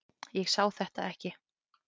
Ég sá þetta ekki.